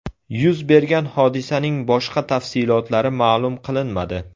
Yuz bergan hodisaning boshqa tafsilotlari ma’lum qilinmadi.